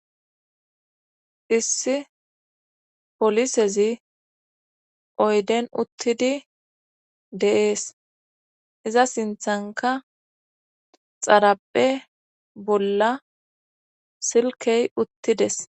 issi polisezi oyden uttidi deees iza sinthanka xaraphe bolla silkey uttides